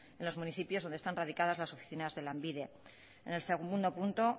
en los municipios donde están radicadas las oficinas de lanbide en el segundo punto